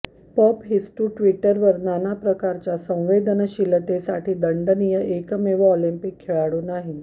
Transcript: पपहिस्टू ट्विटरवर नाना प्रकारच्या संवेदनशीलतेसाठी दंडनीय एकमेव ऑलिम्पिक खेळाडू नाही